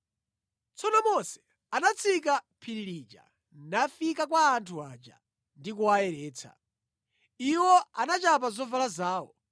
Tsono Mose anatsika phiri lija nafika kwa anthu aja ndi kuwayeretsa. Iwo anachapa zovala zawo.